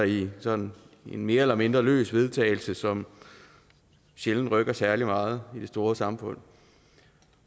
i sådan en mere eller mindre løs vedtagelse som sjældent rykker særlig meget i det store samfund